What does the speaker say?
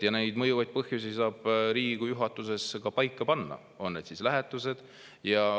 Neid mõjuvaid põhjusi saab Riigikogu juhatus paika panna, on need lähetused või midagi muud.